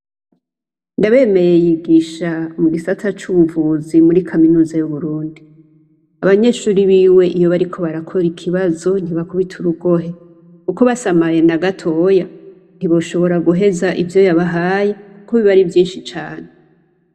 ndabemeye yigisha mu gisata c'ubuvuzi muri kaminuza y'uburundi abanyeshuri b'iwe iyo bariko barakora ikibazo ntibakubite urugohe kuko basamaye na gatoya ntiboshobora guheza ibyo yabahaye kuko bibari byinshi cane